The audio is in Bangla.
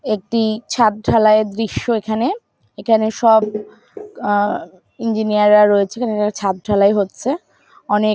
একটি-ই ছাদ ঢালাই এর দৃশ্য এখানে এখানে সব আ-আ-ম ইঞ্জিনিয়ার - রা রয়েছে ছাদ ঢালাই হচ্ছে অনেক--